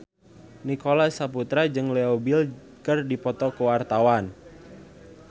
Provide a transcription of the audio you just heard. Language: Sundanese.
Nicholas Saputra jeung Leo Bill keur dipoto ku wartawan